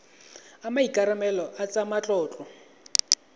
a maikarebelo a tsa matlotlo